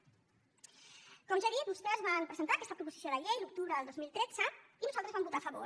com ja he dit vostès van presentar aquesta proposició de llei a l’octubre del dos mil tretze i nosaltres hi vam votar a favor